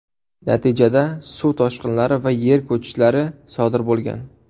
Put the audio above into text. Natijada suv toshqinlari va yer ko‘chishlari sodir bo‘lgan.